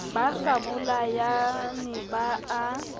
ba sa bolayane ba a